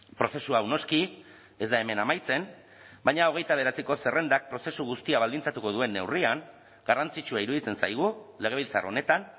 prozesu hau noski ez da hemen amaitzen baina hogeita bederatziko zerrendak prozesu guztia baldintzatuko duen neurrian garrantzitsua iruditzen zaigu legebiltzar honetan